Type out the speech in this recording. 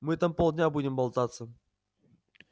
мы там полдня будем болтаться